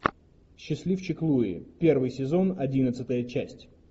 счастливчик луи первый сезон одиннадцатая часть